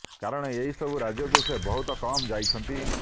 କାରଣ ଏହି ସବୁ ରାଜ୍ୟକୁ ସେ ବହୁତ କମ୍ ଯାଇଛନ୍ତି